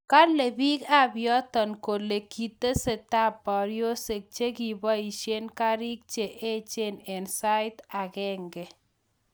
Kale biik ab yoto kole kitestai boryosyek che ki boisye kariiik che eechen eng sait agenge